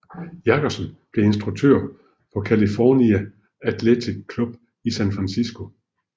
Jackson blev instruktør på California Athletic Club i San Francisco